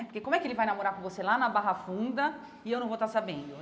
Porque como é que ele vai namorar com você lá na Barra Funda e eu não vou estar sabendo?